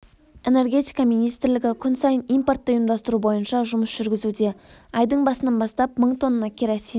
энергетика министрлігі күн сайын импортты ұйымдастыру бойынша жұмыс жүргізуде айдың басынан бастап мың тонна керосин